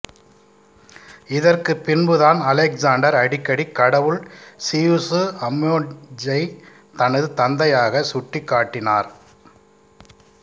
இதற்கு பின்பு தான் அலெக்ஸாண்டர் அடிக்கடி கடவுள் சியுசுஅம்மோன்ஐ தனது தந்தையாக சுட்டிக்காட்டினார்